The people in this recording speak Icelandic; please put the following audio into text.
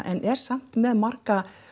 en er samt með marga